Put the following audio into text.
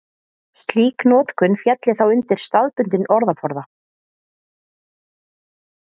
slík notkun félli þá undir staðbundinn orðaforða